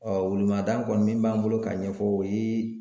welemada kɔni min b'an bolo ka ɲɛfɔ o ye